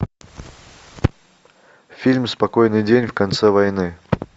фильм спокойный день в конце войны